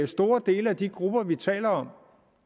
store dele af de grupper vi taler om